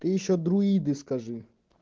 и ещё друиды скажи